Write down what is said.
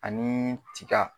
Ani tika.